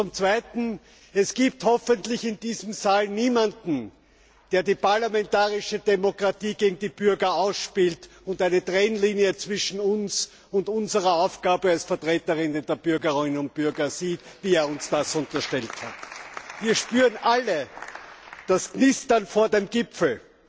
Zum Zweiten Es gibt hoffentlich in diesem Saal niemanden, der die parlamentarische Demokratie gegen die Bürger ausspielt und eine Trennlinie zwischen uns und unserer Aufgabe als Vertreter der Bürgerinnen und Bürger sieht, wie er uns das unterstellt hat. Wir spüren alle das Knistern vor dem Gipfel.